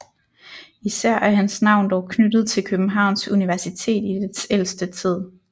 Især er hans navn dog knyttet til Københavns Universitet i dets ældste tid